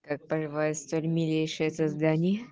как поживает столь милейшее создание